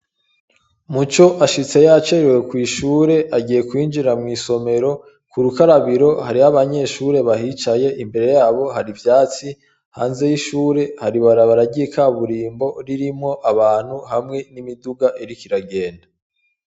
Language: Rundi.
Muco ashitse yacerewe kw'ishure agiye kwinjira mw'isomero ku rukarabiro hari ho abanyeshure bahicaye imbere yabo hari ivyatsi hanze y'ishure hari barabaragyikaburimbo ririmwo abantu hamwe n'imiduga eri kiragenda.